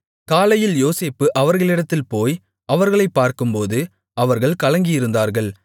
காலையில் யோசேப்பு அவர்களிடத்தில் போய் அவர்களைப் பார்க்கும்போது அவர்கள் கலங்கியிருந்தார்கள்